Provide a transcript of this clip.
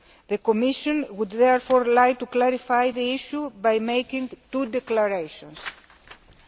The Commission would therefore like to clarify the issue by making two statements.